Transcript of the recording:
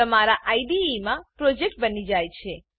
તમારા આઈડીઈમાં પ્રોજેક્ટ બની જાય છે